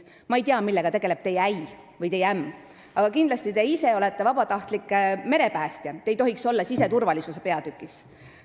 Ma ei tea, millega tegeleb teie äi või ämm, aga te ise olete vabatahtlik merepäästja ja te ei tohiks sel juhul osaleda siseturvalisuse peatüki arutelul.